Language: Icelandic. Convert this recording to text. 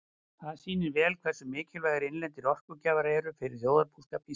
Þetta sýnir vel hversu mikilvægir innlendir orkugjafar eru fyrir þjóðarbúskap Íslendinga.